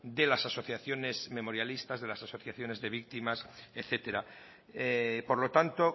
de las asociaciones memorialistas de las asociaciones de víctimas etcétera por lo tanto